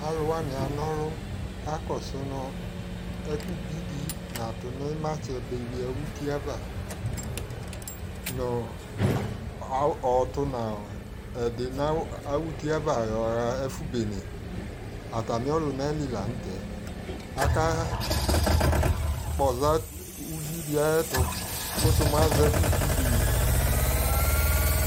Alʊ wanɩ kana ɔlʊ kakɔsʊ nʊ ɛkʊbɩdɩ natʊ ɩmatsɛ ba ʊtɩava nʊ ɔtʊ nʊ awʊfʊɛ yɔɣa ɛfʊ bene atamɩ ɔlʊna yelɩ lanʊtɛ ajakpɔza ʊvɩdɩ ayʊ ɛtʊ kʊsʊ mʊ azɛ ɛkʊbɩdɩ